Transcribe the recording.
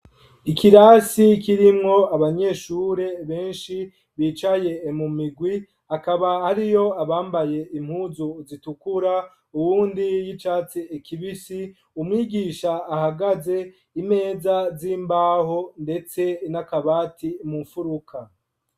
Ikirasi kirimwo abanyeshure benshi bicaye mu migwi akaba hariyo abambaye impuzu zitukura uwundi y'icatse ekibisi umwigisha ahagaze imeza z'imbaho, ndetse n'akabati mumfuruka.